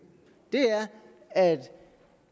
at